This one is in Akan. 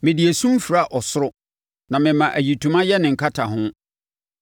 Mede esum fira ɔsoro na mema ayitoma yɛ ne nkataho.”